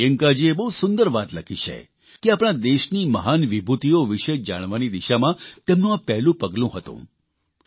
પ્રિયંકાજીએ બહુ સુંદર વાત લખી છે કે આપણા દેશની મહાન વિભૂતિઓ વિષે જાણવાની દિશામાં તેમનું આ પહેલું પગલું હતું